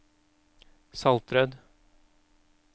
Saltrød